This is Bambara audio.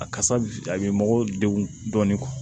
A kasa a bɛ mɔgɔ degun dɔɔni